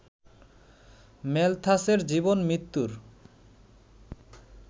ম্যালথাসের জীবন-মৃত্যুর